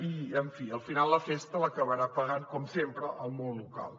i en fi al final la festa l’acabarà pagant com sempre el món local